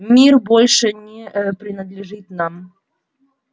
мир больше не принадлежит нам